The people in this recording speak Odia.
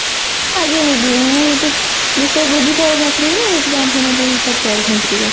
ଆଜ୍ଞା ଦିଦି ମୁଁ ଗୋଟେ ବିଷୟ ବୁଝିପାରୁନଥିଲି ନା ସେଥିପାଇଁ ଆପଣଙ୍କୁ ପଚାରିଥାନ୍ତି ଟିକେ